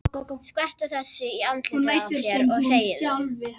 Skvettu þessu í andlitið á þér og þegiðu.